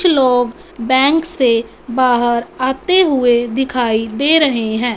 कुछ लोग बैंक से बाहर आते हुए दिखाई दे रहे हैं।